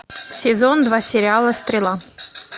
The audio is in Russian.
сезон два сериала стрела